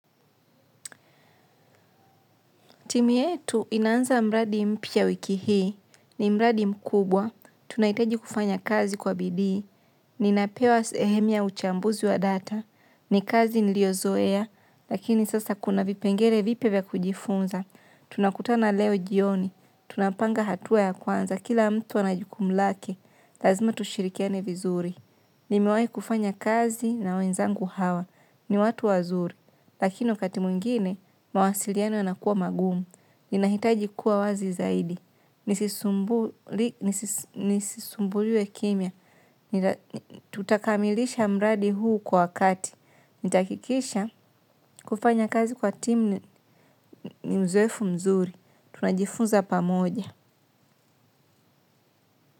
Timu yetu inaanza mradi mpya wiki hii ni mradi mkubwa tunahitaji kufanya kazi kwa bidii ninapewa sehemu ya uchambuzi wa data, ni kazi niliyozoea, lakini sasa kuna vipengele vipia vya kujifunza, tunakutana leo jioni, tunapanga hatua ya kwanza, kila mtu ana jukumu lake, lazima tushirikiane vizuri. Nimewai kufanya kazi na wenzangu hawa. Ni watu wazuri. Lakini wakati mwingine, mawasiliano yanakuwa magumu. Ninahitaji kuwa wazi zaidi. Nisisumbuliwe kimya tutakamilisha mradi huu kwa wakati. Nitahakikisha kufanya kazi kwa timu ni uzoefu mzuri. Tunajifunza pamoja.